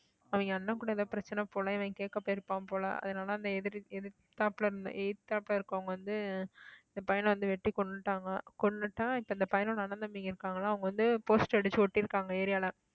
அவங்க அண்ணன் கூட ஏதோ பிரச்சனை போல இவன் கேக்க போயிருப்பான் போல அதனால அந்த எதிர்த்தாப்புல இருந்த எதிர்த்தாப்புல இருக்கிறவங்க வந்து இந்த பையன வந்து வெட்டிக் கொன்னுட்டாங்க கொன்னுட்டா இப்ப இந்த பையனோட அண்ணன் தம்பிங்க இருக்காங்களாம் அவங்க வந்து poster அடிச்சு ஒட்டியிருக்காங்க area ல